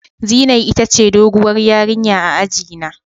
Zinai ita ce doguwar ƴarinya a aji na.